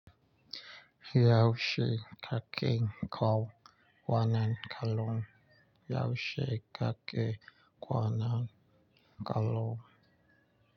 Yaushe, ka ke kwanan kalun? Yaushe ka ke kwana kalung?